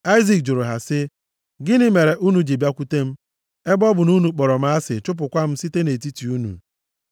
Aịzik jụrụ ha sị, “Gịnị mere unu ji bịakwute m, ebe ọ bụ na unu kpọrọ m asị, chụpụkwa m site nʼetiti unu?”